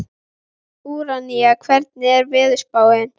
Úranía, hvernig er veðurspáin?